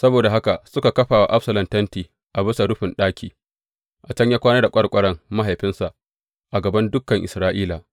Saboda haka suka kafa wa Absalom tenti a bisa rufin ɗaki, a can ya kwana da ƙwarƙwaran mahaifinsa a gaban dukan Isra’ila.